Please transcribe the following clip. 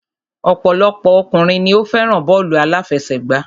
Ọ̀pọ̀lọpọ̀ ọkùnrin ni o fẹ́ràn bọ́ọ̀lù àláfẹsẹ̀gbá.